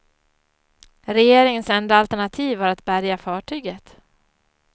Regeringens enda alternativ var att bärga fartyget.